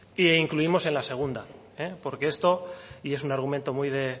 e incluimos en la segunda porque esto y es un argumento